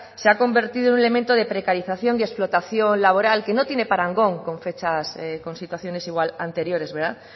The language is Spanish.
se ha convertido en un elemento de precarización y explotación laboral que no tiene parangón con fechas con situaciones igual anteriores verdad